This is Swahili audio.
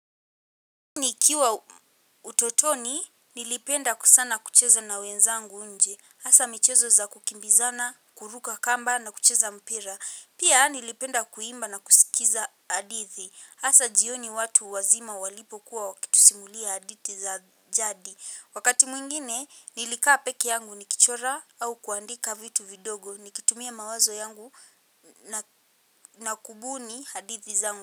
Nikiwa utotoni nilipenda ku sana kucheza na wenzangu nje asa michezo za kukimbizana, kuruka kamba na kucheza mpira. Pia nilipenda kuimba na kusikiza hadithi asa jioni watu wazima walipokuwa wakitusimulia hadithi za jadi. Wakati mwingine nilikaa peke yangu nikichora au kuandika vitu vidogo nikitumia mawazo yangu na kubuni hadithi zangu.